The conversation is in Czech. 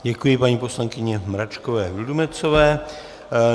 Děkuji paní poslankyni Mračkové Vildumetzové.